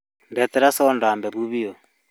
Ndehera soda hehũ biũ